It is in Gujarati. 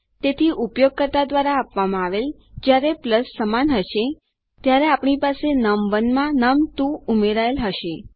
તેથી ઉપયોગકર્તા દ્વારા આપવામાં આવેલ જયારે પ્લસ સમાન હશે ત્યારે આપણી પાસે નમ1 માં નમ2 ઉમેરાયેલ હશે